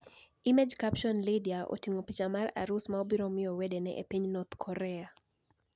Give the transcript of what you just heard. Image captioni Lydia otinig'o picha mar arus ma obiro miyo wedeni e e piniy north Korea